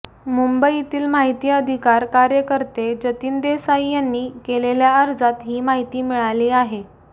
मुंबईतील माहिती अधिकार कार्यकर्ते जतीन देसाई यांनी केलेल्या अर्जात ही माहिती मिळाली आहे